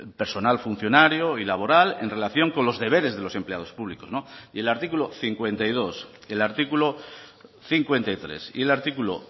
personal funcionario y laboral en relación con los deberes de los empleados públicos y el artículo cincuenta y dos el artículo cincuenta y tres y el artículo